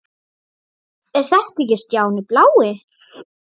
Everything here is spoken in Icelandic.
Er þetta ekki Stjáni blái?!